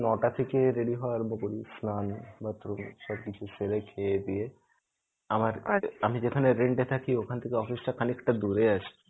নটা থেকে ready হওয়া আরম্ভ করি. স্নান bathroom সবকিছু সেরে খেয়ে দেয়ে আমার আমি যেখানে rent এ থাকি ওখান থেকে office টা খানিকটা দুরে আছে.